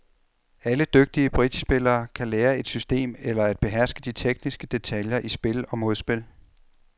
Alle dygtige bridgespillere kan lære et system eller at beherske de tekniske detaljer i spil og modspil.